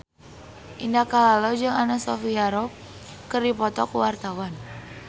Indah Kalalo jeung Anna Sophia Robb keur dipoto ku wartawan